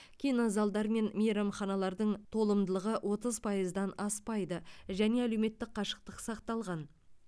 кинозалдар мен мейрамханалардың толымдылығы отыз пайыздан аспайды және әлеуметтік қашықтық сақталған